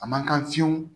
A man kan fiyewu